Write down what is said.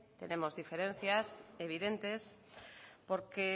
tenemos diferencias evidentes porque